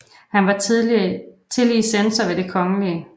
Han var tillige censor ved Det Kgl